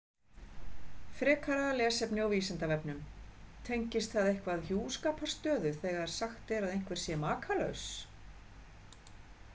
Frekara lesefni á Vísindavefnum: Tengist það eitthvað hjúskaparstöðu þegar sagt er að einhver sé makalaus?